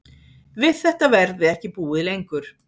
Við þetta verði ekki búið lengur